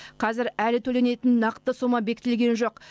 қазір әлі төленетін нақты сома бекітілген жоқ